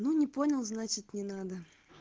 ну не понял значит не надо